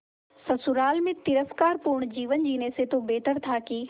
ससुराल में तिरस्कार पूर्ण जीवन जीने से तो बेहतर था कि